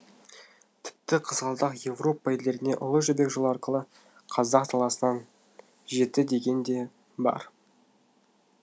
тіпті қызғалдақ еуропа елдеріне ұлы жібек жолы арқылы қазақ даласынан жетті деген де бар